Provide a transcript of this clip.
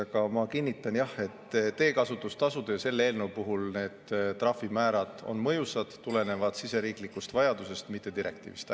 Aga ma kinnitan, jah, et selle eelnõu puhul need teekasutustasude trahvimäärad on mõjusad, need tulenevad siseriiklikust vajadusest, mitte direktiivist.